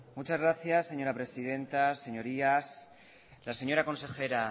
muchas gracias señora presidenta señorías la señora consejera